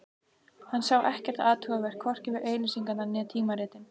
Hann sá ekkert athugavert, hvorki við auglýsingarnar né tímaritin.